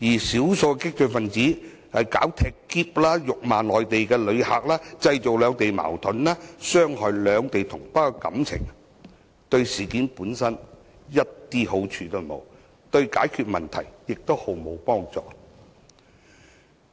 少數激進分子"踢喼"或辱罵內地旅客，製造兩地矛盾，傷害兩地同胞感情，對事件一點好處都沒有，對解決問題亦毫無幫助。